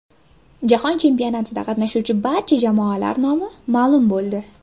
Jahon chempionatida qatnashuvchi barcha jamoalar nomi ma’lum bo‘ldi.